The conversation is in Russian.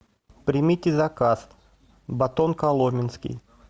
примите заказ батон коломенский